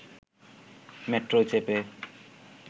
মেট্রোয় চেপে